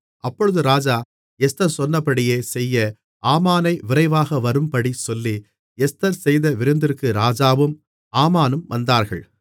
அப்பொழுது ராஜா எஸ்தர் சொன்னபடியே செய்ய ஆமானை விரைவாக வரும்படி சொல்லி எஸ்தர் செய்த விருந்திற்கு ராஜாவும் ஆமானும் வந்தார்கள்